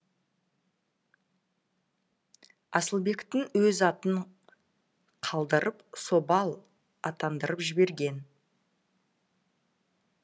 асылбектің өз атын қалдырып собал атандырып жіберген